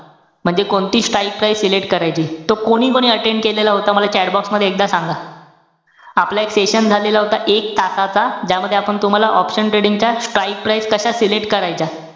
म्हणजे कोणती strike price select करायची. तो कोणीकोणी attend केलेला होता मला chatbox मध्ये एकदा सांगा. आपला एक session झालेला होता. एक तासाचा, ज्यामध्ये आपण तुम्हाला option trading च्या, strike price कशा select करायच्या,